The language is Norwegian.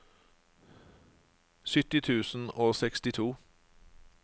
sytti tusen og sekstito